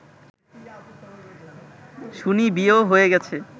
শুনি বিয়েও হয়ে গেছে